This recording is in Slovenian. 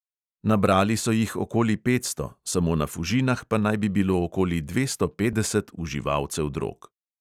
Nabrali so jih okoli petsto, samo na fužinah pa naj bi bilo okoli dvesto petdeset uživalcev drog.